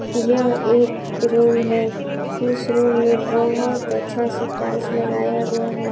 यह एक रूम है इस रूम में बहुत अच्छा से टाइल्स लगाया गया है।